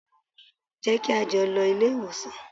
Jẹ́ kí á jọ lọ ilé ìwòsàn!